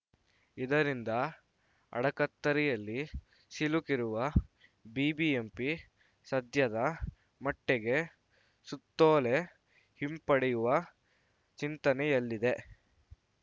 ಇದರಿಂದ ಅಡಕತ್ತರಿಯಲ್ಲಿ ಸಿಲುಕಿರುವ ಬಿಬಿಎಂಪಿ ಸದ್ಯದ ಮಟ್ಟಿಗೆ ಸುತ್ತೋಲೆ ಹಿಂಪಡೆಯುವ ಚಿಂತನೆಯಲ್ಲಿದೆ